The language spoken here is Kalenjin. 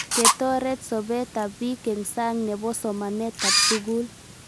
Ketoret sobet ab pik eng' sang' nepo somanet ab sukul